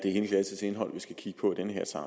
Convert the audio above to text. er hele glassets indhold vi skal kigge på